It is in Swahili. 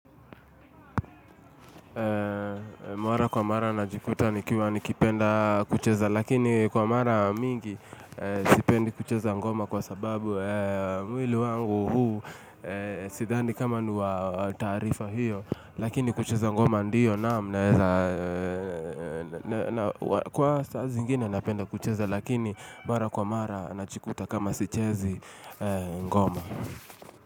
Mwara kwa mara najikuta nikiwa nikipenda kucheza lakini kwa mara mingi sipendi kucheza ngoma kwa sababu mwili wangu huu sidhani kama wa taarifa hiyo lakini kucheza ngoma ndiyo naam naeza kwa saa zingine napenda kucheza lakini mara kwa mara nachikuta kama sichezi ngoma.